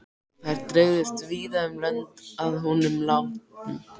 Þær dreifðust víða um lönd að honum látnum.